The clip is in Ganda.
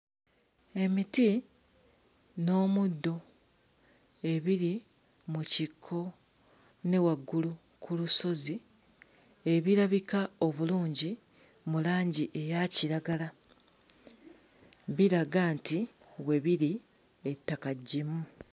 Emiti n'omuddo ebiri mu kikko ne waggulu ku lusozi ebirabika obulungi mu langi eya kiragala biraga nti we biri ettaka ggimu.